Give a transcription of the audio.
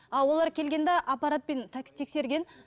а олар келгенде аппаратпен так тексерген